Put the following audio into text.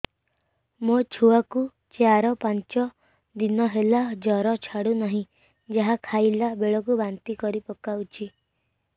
ମୋ ଛୁଆ କୁ ଚାର ପାଞ୍ଚ ଦିନ ହେଲା ଜର ଛାଡୁ ନାହିଁ ଯାହା ଖାଇଲା ବେଳକୁ ବାନ୍ତି କରି ପକଉଛି